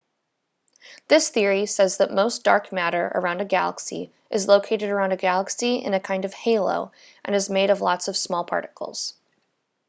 this theory says that most dark matter around a galaxy is located around a galaxy in a kind of halo and is made of lots of small particles